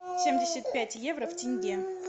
семьдесят пять евро в тенге